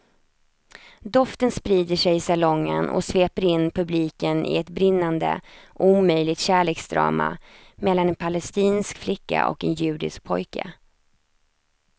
Doften sprider sig i salongen och sveper in publiken i ett brinnande omöjligt kärleksdrama mellan en palestinsk flicka och en judisk pojke.